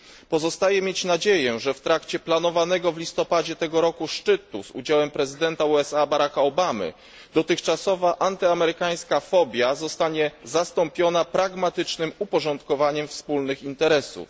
Pozostaje mieć nadzieję, że w trakcie planowanego w listopadzie tego roku szczytu z udziałem prezydenta USA Baracka Obamy, dotychczasowa antyamerykańska fobia zostanie zastąpiona pragmatycznym uporządkowaniem wspólnych interesów.